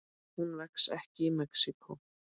Hún vex ekki í Mexíkó.